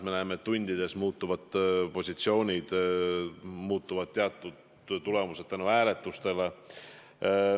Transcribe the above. Õigemini näeme, et hääletuste tõttu muutuvad positsioonid lausa tundidega.